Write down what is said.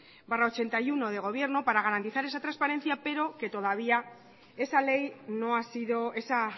barra ochenta y uno de gobierno para garantizar esa transparencia pero que todavía esa ley no ha sido esa